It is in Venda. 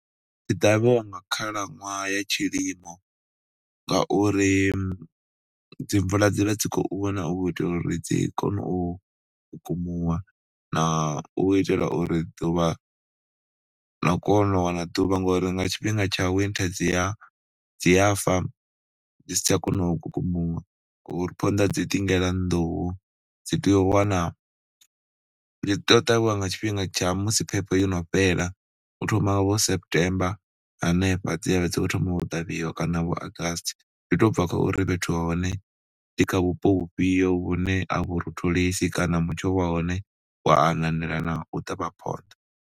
Dzi ṱavhiwa nga khalaṅwaha ya tshilimo ngauri dzi mvula dzi vha dzi khou na u itela uri dzi kone u kukumuwa na u itela uri ḓuvha, na u kona u wana ḓuvha ngori nga tshifhinga tsha winter dzi ya fa dzi si tsha kona u kukumuwa. Ngauri phonḓa dzi ḓingela nḓuhu dzi tea u wana, dzi tea u ṱavhiwa nga tshifhinga tsha musi phepho yo no fhela, u thoma vho September hanefha dzi ya dzi tshi khou thoma u ṱavhiwa kana vho August, zwi tou bva khou ri fhethu ha hone ndi kha vhupo vhufhio vhune a vhu rotholesi kana mutsho wa hone wa ananela na u ṱavha phonḓa.